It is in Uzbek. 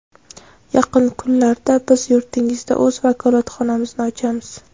Yaqin kunlarda biz yurtingizda o‘z vakolatxonamizni ochamiz.